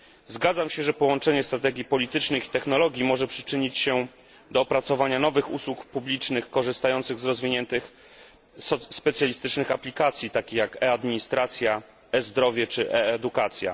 Zgadzam się, że połączenie strategii politycznych i technologii może przyczynić się do opracowania nowych usług publicznych korzystających z rozwiniętych, specjalistycznych aplikacji, takich jak e administracja, e zdrowie czy e edukacja.